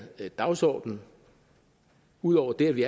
dagsorden ud over det at vi